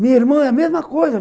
Minha irmã é a mesma coisa.